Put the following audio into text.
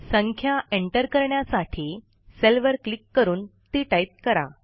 संख्या एंटर करण्यासाठी सेलवर क्लिक करून ती टाईप करा